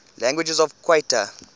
languages of qatar